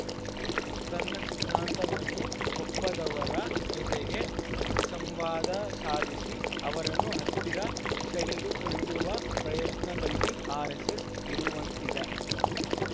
ತನ್ನ ಸಿದ್ಧಾಂತವನ್ನು ಒಪ್ಪದವರ ಜೊತೆಗೆ ಸಂವಾದ ಸಾಧಿಸಿ ಅವರನ್ನು ಹತ್ತಿರ ಸೆಳೆದುಕೊಳ್ಳುವ ಪ್ರಯತ್ನ ದಲ್ಲಿ ಆರ್‌ಎಸ್‌ಎಸ್‌ ಇರುವಂತಿದೆ